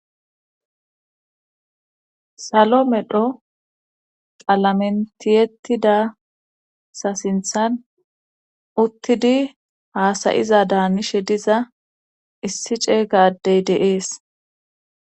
salo medho qalamentiyettidasa sinthan uttidi haasayiza daanishe diza issi cey gaadey deees